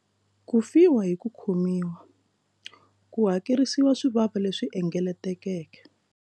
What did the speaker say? Ku fiwa hi ku khomiwa ku hakerisiwa swivava leswi engetelekeke.